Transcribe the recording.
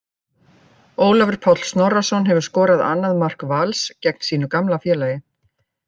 Ólafur Páll Snorrason hefur skorað annað mark Vals gegn sínu gamla félagi.